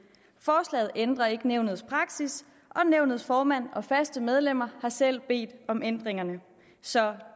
forslaget ændrer ikke nævnets praksis og nævnets formand og faste medlemmer har selv bedt om ændringerne så